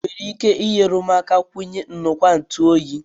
Ị nwere ike inyere m aka ikwunye ngwa nju oyi?